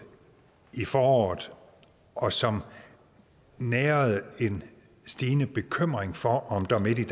i foråret og som nærede en stigende bekymring for om der midt i